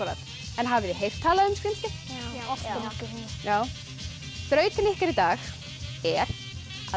en hafið þið heyrt talað um skrímsli já þrautin ykkar í dag er að